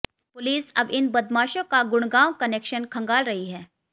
police अब इन बदमाशों का गुड़गांव कनेक्शन खंगाल रही है